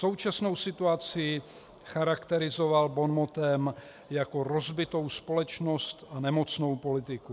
Současnou situaci charakterizoval bonmotem jako "rozbitou společnost a nemocnou politiku".